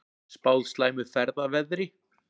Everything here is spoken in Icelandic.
Spáð slæmu ferðaveðri